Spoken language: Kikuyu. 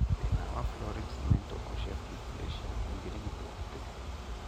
Thĩna wa florid cemento osseous dysplasia ũngĩrigitwo atĩa?